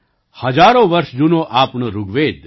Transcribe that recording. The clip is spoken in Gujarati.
હજારો વર્ષ જૂનો આપણો ઋગ્વેદ